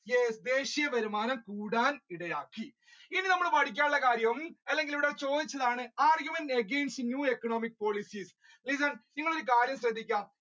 yes ദേശിയ വരുമാനം കൂട്ടാൻ ഇടയാക്കി ഇനി നമ്മൾ പഠിക്കാനുള്ള കാര്യം അല്ലെങ്കിൽ ഇവിടെ ചോദിച്ചതാണ് arguments against new economic policy, listen നിങ്ങൾ ഒരു കാര്യം ശ്രദ്ധിക്കുക